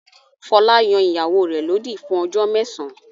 Fọlá yan ìyàwó rẹ̀ lódì fún ọjọ́ mẹ́sàn-án.